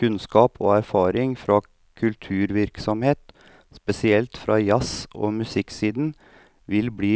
Kunnskap og erfaring fra kulturvirksomhet, spesielt fra jazz og musikksiden, vil bli